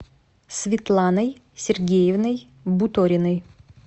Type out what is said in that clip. светланой сергеевной буториной